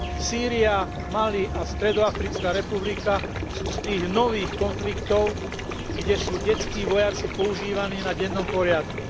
Sýria, Mali a Stredoafrická republika sú z tých nových konfliktov, kde sú detskí vojaci používaní na dennom poriadku.